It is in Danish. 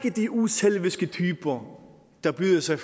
er de uselviske typer der byder sig